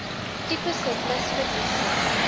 tipe surplus verliese